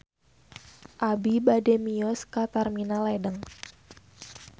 Abi bade mios ka Terminal Ledeng